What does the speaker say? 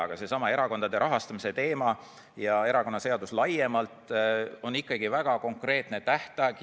Aga seesama erakondade rahastamise teema ja erakonnaseadus laiemalt on ikkagi väga konkreetne.